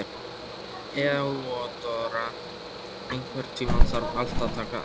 Þeódóra, einhvern tímann þarf allt að taka enda.